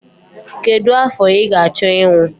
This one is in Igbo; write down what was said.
Kedu afọ ị ga-achọ ịnwụ?